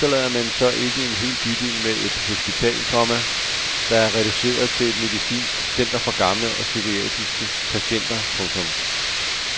Efterlader man så ikke en hel bydel med et hospital, komma der er reduceret til et medicinsk center for gamle og psykiatriske patienter . punktum